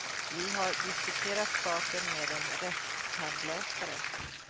Vi har diskuterat saken med en rättstandläkare.